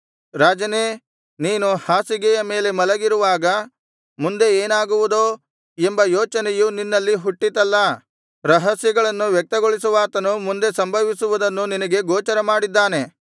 ರಾಜನೇ ನೀನು ಹಾಸಿಗೆಯ ಮೇಲೆ ಮಲಗಿರುವಾಗ ಮುಂದೆ ಏನಾಗುವುದೋ ಎಂಬ ಯೋಚನೆಯು ನಿನ್ನಲ್ಲಿ ಹುಟ್ಟಿತಲ್ಲಾ ರಹಸ್ಯಗಳನ್ನು ವ್ಯಕ್ತಗೊಳಿಸುವಾತನು ಮುಂದೆ ಸಂಭವಿಸುವುದನ್ನು ನಿನಗೆ ಗೋಚರಮಾಡಿದ್ದಾನೆ